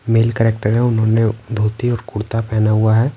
Mail character हैं उन्होंने धोती और कुर्ता पहना हुआ हैं।